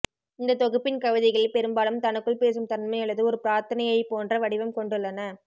இந்த தொகுப்பின் கவிதைகள் பெரும்பாலும் தனக்குள் பேசும் தன்மை அல்லது ஒரு பிரார்த்தனையைபோன்ற வடிவம் கொண்டுள்ளன